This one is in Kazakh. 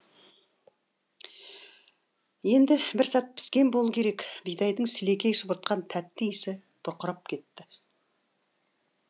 енді бір сәт піскен болу керек бидайдың сілекей шұбыртқан тәтті иісі бұрқырап кетті